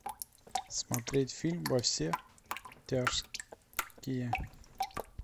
смотреть фильм во все тяжкие